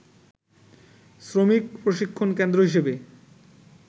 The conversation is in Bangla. শ্রমিক প্রশিক্ষণ কেন্দ্র হিসেবে